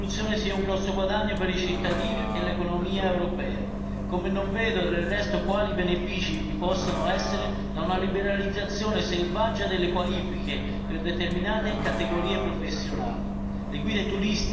Non credo che questa soluzione sia un grosso guadagno per i cittadini e l'economia europea, così come non vedo quali benefici possano derivare da una liberalizzazione selvaggia delle qualifiche di determinate categorie professionali.